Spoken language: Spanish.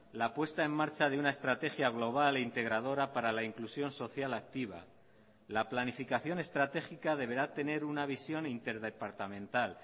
la puesta en marcha de una estrategia global e integradora para la inclusión social activa la planificación estratégica deberá tener una visión interdepartamental